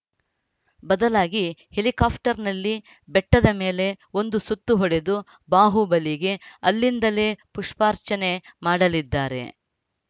ಬದಲಾಗಿ ಹೆಲಿಕಾಪ್ಟರ್‌ನಲ್ಲಿ ಬೆಟ್ಟದ ಮೇಲೆ ಒಂದು ಸುತ್ತು ಹೊಡೆದು ಬಾಹುಬಲಿಗೆ ಅಲ್ಲಿಂದಲೇ ಪುಷ್ಪಾರ್ಚನೆ ಮಾಡಲಿದ್ದಾರೆ